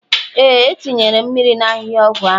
Ee, etinyere m mmiri na ahihia ọgwụ ahu